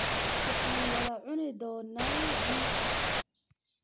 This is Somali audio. Waxaan wada cuni doonnaa biisa.